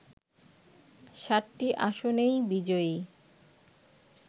৭টি আসনেই বিজয়ী